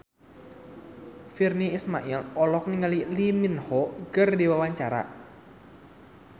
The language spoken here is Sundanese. Virnie Ismail olohok ningali Lee Min Ho keur diwawancara